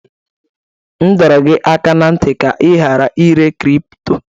M dọrọ gị aka ná ntị ka ị ghara ire kripto!